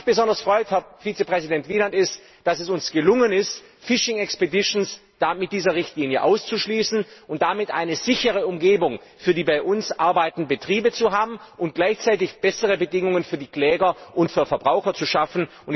Es freut mich besonders, dass es uns gelungen ist, Phishing Expeditions mit dieser Richtlinie auszuschließen und damit eine sichere Umgebung für die bei uns arbeitenden Betriebe zu haben und gleichzeitig bessere Bedingungen für die Kläger und für die Verbraucher zu schaffen.